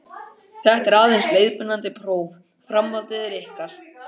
Þetta er aðeins leiðbeinandi próf, framhaldið er ykkar.